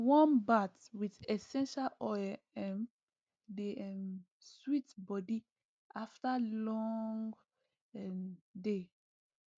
warm bath with essential oil um dey um sweet body after long um day